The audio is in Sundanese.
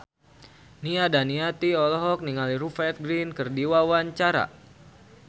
Nia Daniati olohok ningali Rupert Grin keur diwawancara